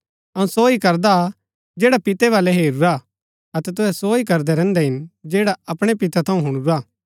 अऊँ सो ही करदा जैडा पितै वलै हेरूरा अतै तूहै सो ही करदै रैहन्दै हिन जैडा अपणै पितै थऊँ हुणुरा